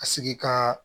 A sigi ka